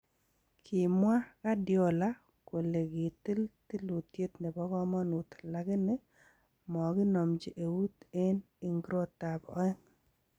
Kimwaaa Guardiola kolegitil tilutiet nebo komonuut lagini maginomji eut en igrotab oeng'.